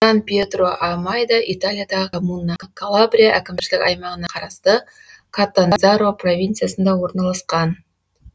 сан пьетро а майда италиядағы коммуна калабрия әкімшілік аймағына қарасты катандзаро провинциясында орналасқан